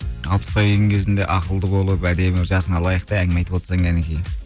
алпысқа келген кезіңде ақылды болып әдемі жасыңа лайықты әңгіме айтып отырсаң кәнекей